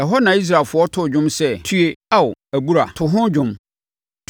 Ɛhɔ na Israelfoɔ too dwom sɛ, “Tue Ao, Abura! To ho dwom!